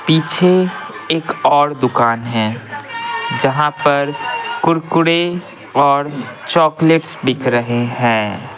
पीछे एक और दुकान है जहाँ पर कुरकुरे और चॉकलेट्स बिक रहे हैं।